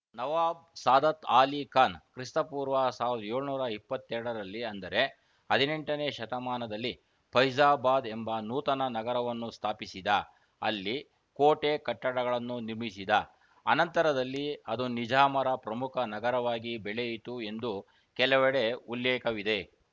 ನವಾಬ್‌ ಸಾದತ್‌ ಆಲಿ ಖಾನ್‌ ಕ್ರಿಸ್ತಪೂರ್ವ ಸಾವಿರದ ಏಳುನೂರ ಇಪ್ಪತ್ತ್ ಎರಡರಲ್ಲಿ ಅಂದರೆ ಹದಿನೆಂಟನೇ ಶತಮಾನದಲ್ಲಿ ಫೈಜಾಬಾದ್‌ ಎಂಬ ನೂತನ ನಗರವನ್ನು ಸ್ಥಾಪಿಸಿದ ಅಲ್ಲಿ ಕೋಟೆ ಕಟ್ಟಡಗಳನ್ನು ನಿರ್ಮಿಸಿದ ಅನಂತರದಲ್ಲಿ ಅದು ನಿಜಾಮರ ಪ್ರಮುಖ ನಗರವಾಗಿ ಬೆಳೆಯಿತು ಎಂದು ಕೆಲವೆಡೆ ಉಲ್ಲೇಖವಿದೆ